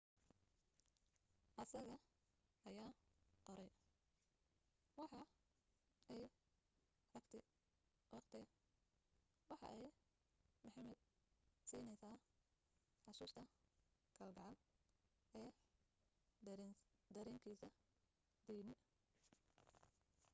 asaga ayaa qoray waxa ay raagti waqti waxa ay muhammed siineysa xasuusta kal gacal ee darenkisa diini